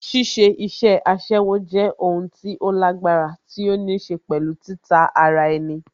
Ṣíṣe iṣẹ́ aṣẹ́wó jẹ́ o n tí ó lágbára tí ó níṣe pẹ̀lú títa ara ẹni